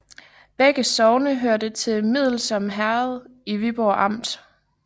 Begge sogne hørte til Middelsom Herred i Viborg Amt